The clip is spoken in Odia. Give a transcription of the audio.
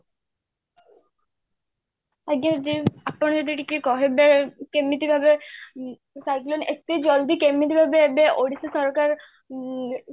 ଆଜ୍ଞା ଦିଦି ଆପଣ ଯଦି ଟିକେ କହିବେ କେମିତିକାର ଅ cyclone ଏତେ ଜଲ୍ଦି କେମିତି ଏବେ ଏବେ ଓଡ଼ିଶା ସରକାର ମ୍